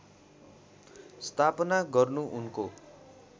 स्थापना गर्नु उनको